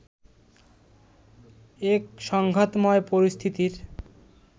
এক সংঘাতময় পরিস্থিতির